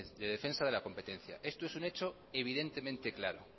de defensa de la competencia esto es un hecho evidentemente claro